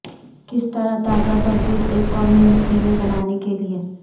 کس طرح تازہ تربوز ایک قومی نسخے میں بنانے کے لئے